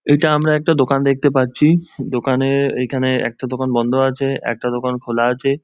এটা আমরা একটা দেখতে পাচ্ছি। দোকানে এইখানে একটা দোকান বন্ধ আছে একটা দোকান খোলা আছে ।